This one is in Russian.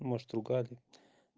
может ругали